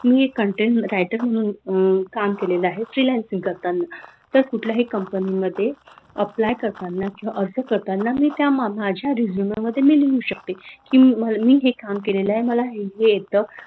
मी एक content writer म्हणून काम केलेल आहे freelancing करताना तर कुठल्याही company मध्ये apply करताना किंवा असं करताना त्या माझ्या resume मध्ये मी लिहू शकते की मी हे काम केलेल आहे मला हे हे येत.